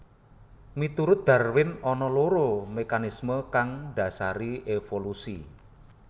Miturut Darwin ana loro mekanismé kang ndhasari évolusi